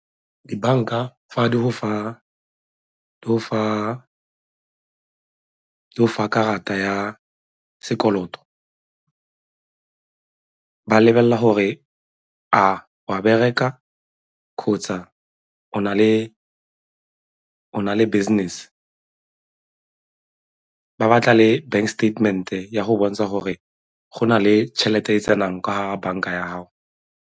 Dibanka fa di go fa karata ya sekoloto ba lebelela gore a o a bereka kgotsa o na le business, ba batla le bank statement-e ya go bontsha gore go na le tšhelete e e tsenang ka gare ga banka ya gago.